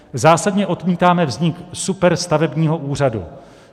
Zásadně odmítáme vznik superstavebního úřadu.